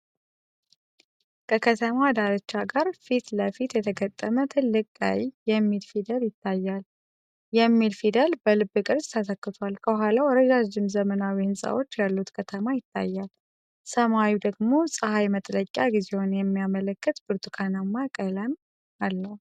ከከተማ ዳርቻ ጋር ፊት ለፊት የተገጠመ ትልቅ ቀይ “ETHIOPIA” የሚል ፊደል ይታያል፤ “O” የሚለው ፊደል በልብ ቅርጽ ተተክቷል። ከኋላው ረዣዥም ዘመናዊ ሕንጻዎች ያሉት ከተማ ይታያል፣ ሰማዩ ደግሞ ፀሐይ መጥለቂያ ጊዜውን የሚያመለክት ብርቱካናማ ቀለም አለው።